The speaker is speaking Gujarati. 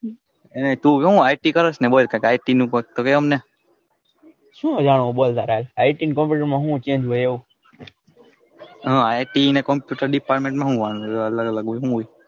તું આઈ ટી કરે ને આઈ ટી અને computer department હું change હોય એવો હા આઈ અને computer department અલગ અલગ હોય.